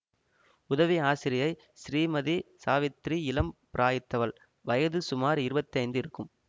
உதவி ஆசிரியை ஸ்ரீமதி சாவித்ரி இளம் பிராயித்தவள் வயது சுமார் இருபத்தைந்து இருக்கும்